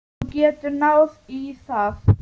Þú getur náð í það.